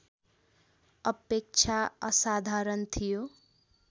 अपेक्षा असाधारण थियो